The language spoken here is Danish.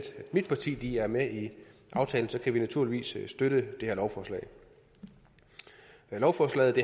mit parti er med i aftalen kan vi naturligvis støtte det her lovforslag lovforslaget